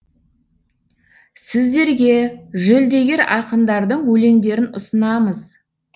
сіздерге жүлдегер ақындардың өлеңдерін ұсынамыз